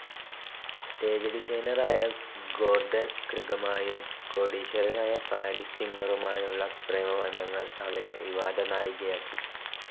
Stage ഡിസൈനറായ Gordon ക്റിഗുമായും കോടീശ്വരനായ പാരിസ് സിംഗറുമായുമുള്ള പ്രേമബന്ധങ്ങൾ അവരെ വിവാദനായികയാക്കി.